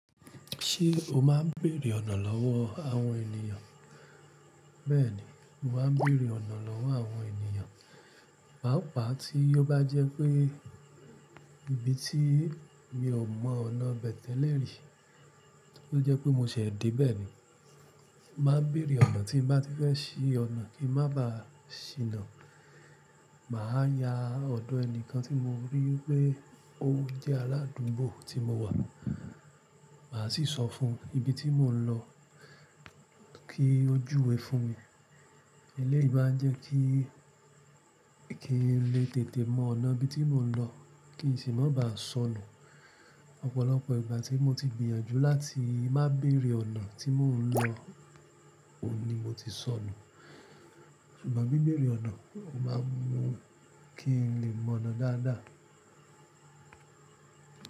Ṣé o máa ń béèrè ọ̀nà lọ́wọ́ àwọn ènìyàn? Bẹ́ẹ̀ni, mo máa ń béèrè ọ̀nà lọ́wọ́ àwọn ènìyàn. Pàápàá tí ó bá jẹ́ pé ibi tí mi ò mọ ọ̀nà bẹ́ẹ̀ tẹ́lẹ̀ rí, tó jẹ́ pé mo ṣẹ̀ di bẹ́ẹ̀ ni, màá béèrè ọ̀nà tí mo bá ti fẹ́ ṣí ọ̀nà kí n má ba à ṣíná. Màá ya ọ̀dọ́ ẹni kan tí mo rí pé ó jẹ́ aládùúgbò tí mo wà, màá sì sọ fún un ibi tí mò ń lọ kí ó júwe fún mi. Elẹ́yìí bá jẹ́ kí kí n lè tètè mọ ọ̀nà ibi tí mò ń lọ, kí n sì má ba à sọnù. Ọ̀pọ̀lọpọ̀ ìgbà tí mo ti gbìyànjú láti má béèrè ọ̀nà tí mò ń lọ, ò ní mo ti sọnù. Ṣùgbọ́n bí béèrè ọ̀nà, o máa ń mú kí n lè mọ ọ̀nà dáadáa.